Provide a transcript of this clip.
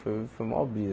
Foi foi maior brisa.